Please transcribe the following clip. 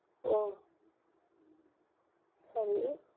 ஓ சரி